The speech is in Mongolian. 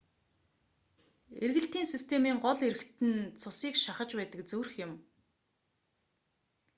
эргэлтийн системийн гол эрхтэн нь цусыг шахаж байдаг зүрх юм